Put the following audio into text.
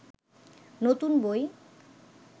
নতুন বই